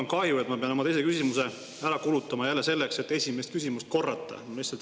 No mul on kahju, et ma pean oma teise küsimuse ära kulutama jälle selleks, et esimest küsimust korrata.